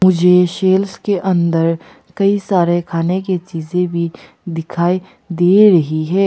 मुझे शेल्फ्स के अंदर कई सारे खाने की चीजे भी दिखाई दे रही है।